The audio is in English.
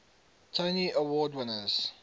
tony award winners